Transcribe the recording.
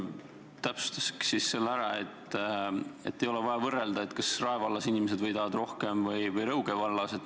Täpsustaks selle ära, et ei ole vaja võrrelda, kas Rae vallas võidavad inimesed rohkem kui Rõuge vallas.